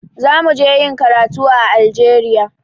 Za mu je ƴin karatu a Algeria.